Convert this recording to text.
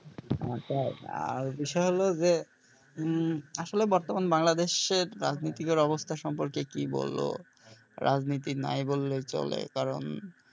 আচ্ছা আহ বিষয় হল যে উম আসলে বর্তমান বাংলাদেশের রাজনীতি কর অবস্হা সম্পর্কে কি বলবো রাজনীতি নাই বললেই চলে কারণ।